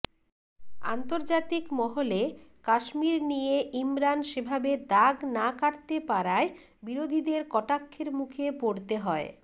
আন্তর্জাতিক মহলে কাশ্মীর নিয়ে ইমরান সেভাবে দাগ না কাটতে পারায় বিরোধীদের কটাক্ষের মুখে পড়তে হয়